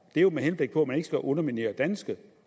det er jo med henblik på at man ikke skal underminere danske